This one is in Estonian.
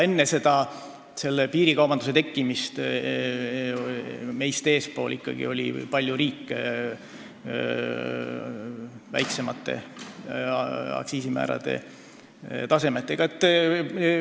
Enne piirikaubanduse tekkimist oli ikkagi riike, kelle aktsiisimäärad olid palju madalamad.